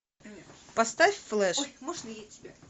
поставь флэш